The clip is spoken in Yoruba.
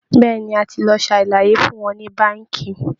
Bẹ́ẹ̀ ni, a ti lọ ṣàlàyé fún wọn ní báǹkì